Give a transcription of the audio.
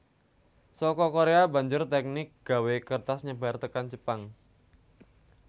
Saka Korea banjur teknik gawé kertas nyebar tekan Jepang